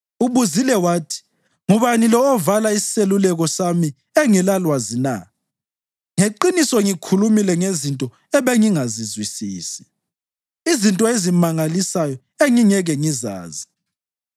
Ubuzile wathi, ‘Ngubani lo ovala iseluleko sami engelalwazi na?’ Ngeqiniso ngikhulumile ngezinto ebengingazizwisisi, izinto ezimangalisayo engingeke ngizazi.